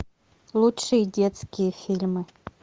лучшие детские фильмы